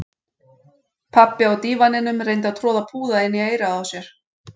Pabbi á dívaninum reyndi að troða púða inn í eyrað á sér